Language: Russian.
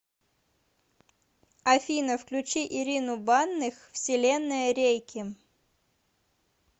афина включи ирину банных вселенная рейки